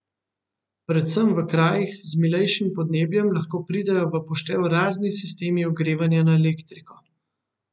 Predvsem v krajih z milejšim podnebjem lahko pridejo v poštev razni sistemi ogrevanja na elektriko.